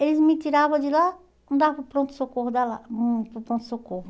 Eles me tiravam de lá, me davam para o pronto-socorro Hum, para o pronto-socorro.